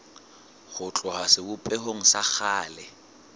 ho tloha sebopehong sa kgale